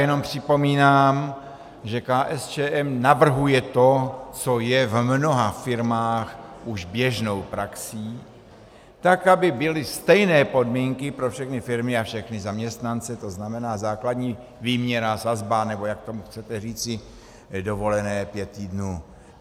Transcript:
Jenom připomínám, že KSČM navrhuje to, co je v mnoha firmách už běžnou praxí, tak aby byly stejné podmínky pro všechny firmy a všechny zaměstnance, to znamená základní výměra, sazba, nebo jak tomu chcete říci, dovolené pět týdnů.